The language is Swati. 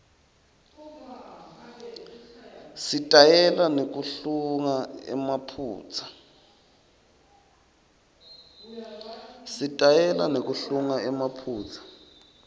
sitayela nekuhlunga emaphutsa